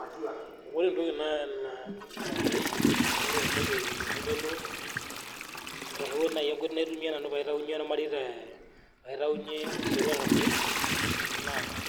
Ore entoki naa oshii ore entoki naitodolu, arashu nai enkoi naitumiya nanu paitainye irmareita paitainye esotua te irmarei naa